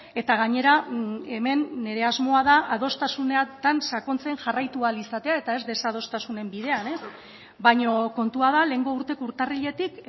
eta gainera hemen nire asmoa da adostasunetan sakontzen jarraitu ahal izatea eta ez desadostasunen bidean baina kontua da lehengo urteko urtarriletik